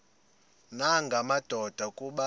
nanga madoda kuba